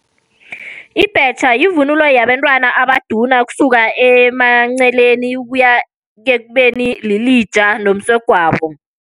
Ibhetjha yivunulo yabentwana abaduna ukusuka emanceleni, ukuya ekubeni lilija nomsegwabo.